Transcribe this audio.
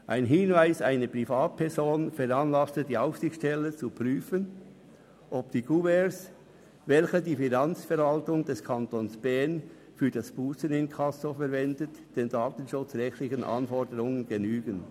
Ein Hinweis einer Privatperson veranlasste die Aufsichtsstelle zu prüfen, ob die Kuverts, welche die Finanzverwaltung des Kantons Bern für das Busseninkasso verwendet, den datenschutzrechtlichen Anforderungen genügen.